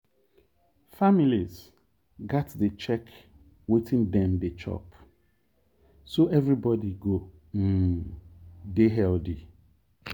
families gats dey check wetin dem dey chop so everybody go um dey healthy.